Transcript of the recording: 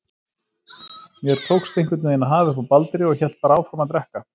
Mér tókst einhvern veginn að hafa uppi á Baldri og hélt bara áfram að drekka.